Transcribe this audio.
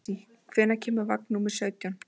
Esí, hvenær kemur vagn númer sautján?